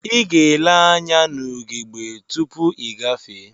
Iga ele anya na ugegbe tupu igafee.